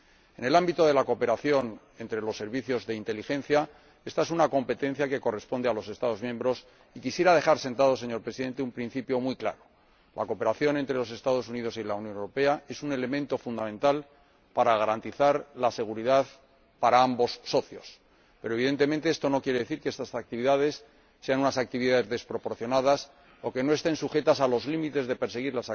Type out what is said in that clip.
En el ámbito de la cooperación entre los servicios de inteligencia, esta es una competencia que corresponde a los Estados miembros y quisiera dejar sentado, señor Presidente, un principio muy claro la cooperación entre los Estados Unidos y la Unión Europea es un elemento fundamental para garantizar la seguridad para ambos socios, pero, evidentemente, esto no quiere decir que estas actividades sean unas actividades desproporcionadas o que no estén sujetas a unos límites, a saber, perseguir